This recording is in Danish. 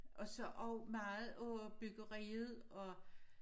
Og så også meget på byggeriet og